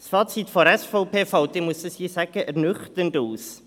Das Fazit der SVP fällt, muss ich sagen, ernüchternd aus.